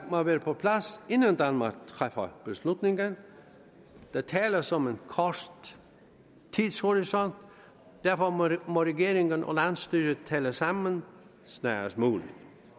må være på plads inden danmark træffer beslutningen der tales om en kort tidshorisont derfor må regeringen og landsstyret tale sammen snarest muligt